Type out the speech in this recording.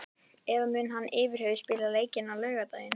Eða mun hann yfirhöfuð spila leikinn á laugardag?